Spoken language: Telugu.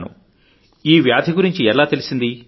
మీకు ఈ సమస్య గురించి ఈవ్యాధి గురించి ఎట్లా తెలిసింది